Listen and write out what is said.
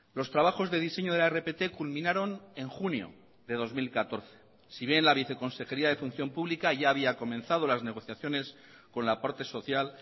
los trabajos de diseño de la rpt culminaron en junio de dos mil catorce si bien la viceconsejería de función pública ya había comenzado las negociaciones con la parte social